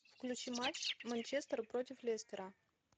включи матч манчестер против лестера